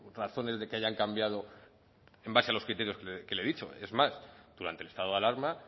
razones de que hayan cambiado en base a los criterios que le he dicho es más durante el estado de alarma